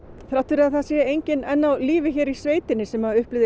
þrátt fyrir að enginn sé enn á lífi hér í sveitinni sem upplifði